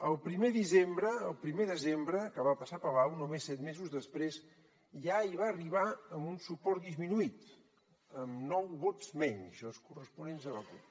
el primer desembre que va passar a palau només set mesos després ja hi va arribar amb un suport disminuït amb nou vots menys els corresponents a la cup